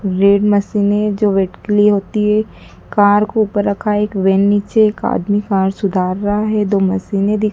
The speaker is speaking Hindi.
रेड मशीन जो वेट के लिए होती है। कार के ऊपर रखा एक वैन नीचे एक आदमी कार सुधार रहा है दो मशीन दिख --